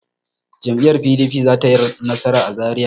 Jam'iyyar PDP za ta yi nasara a Zariya.